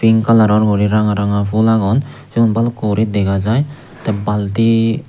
pink kalaror guri ranga ranga pul agon seyun balukko guri dega jai tey balti.